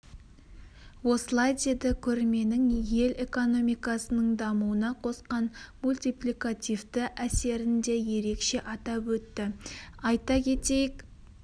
осылай деді көрменің ел экономикасының дамуына қосқан мультипликативті әсерін де ерекше атап өтті айта кетейік